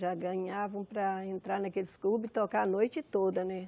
Já ganhavam para entrar naqueles clubes e tocar a noite toda, né?